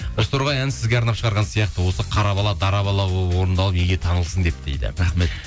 бозторғай әнін сізге арнап шығарған сияқты осы қара бала дара болып орындалып елге танылсын деп дейді рахмет